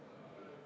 Aitäh!